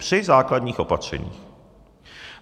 Při základních opatřeních.